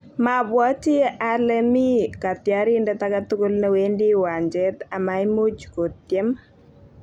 Mabwoti ale mi katyarindet age tugul ne wendi uwanjet amaimuuch kotyem